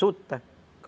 Suta.